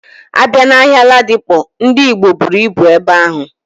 Abia na ahia Ladipo, Ndi Igbo buru ibu ebe ahu.